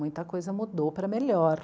Muita coisa mudou para melhor.